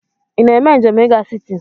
Ị na-eme njem i ga siti?